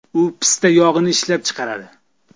U pista yog‘ini ishlab chiqaradi.